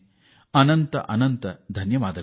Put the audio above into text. ಅನಂತಧನ್ಯವಾದಗಳು